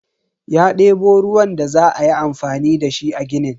Ya debo ruwan da za ayi amfani dashi a ginin.